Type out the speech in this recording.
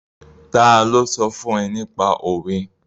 Ta ló sọ fún ẹ nípa òwe?